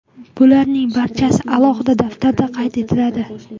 Bularning barchasi alohida daftarda qayd etiladi.